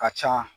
Ka ca